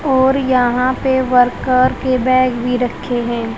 और यहां पे वर्कर के बैग भी रखे हैं।